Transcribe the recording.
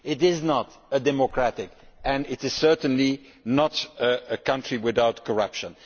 it is not democratic, and it is certainly not a country without corruption.